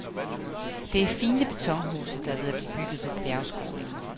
Det er fine betonhuse, der er ved at blive bygget på bjergskråningen.